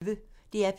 DR P1